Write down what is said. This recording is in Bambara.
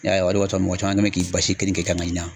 I y'a ye wa. O de b'a to mɔgɔ caman kɛlen bɛ k'i kenike kan ka ɲina.